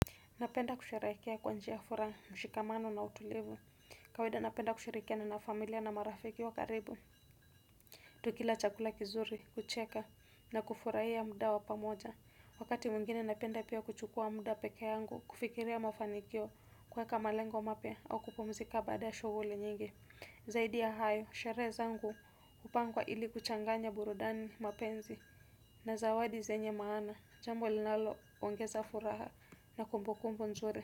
Napenda kusherehekea kwa njia ya furaha mushikamano na utulivi. Kawida napenda kushirikia na na familia na marafiki wa karibu. Tukila chakula kizuri, kucheka, na kufurahia muda wa pamoja. Wakati mingine napenda pia kuchukua muda pekee yangu, kufikiria mafanikio kuweka malengo mapya au kupumzika baada ya shughuli nyingi. Zaidi ya hayo, sherehe zangu hupangwa ili kuchanganya burudani mapenzi. Na zawadi zenye maana, jambo linalo, ongeza furaha na kumbukumbu nzuri.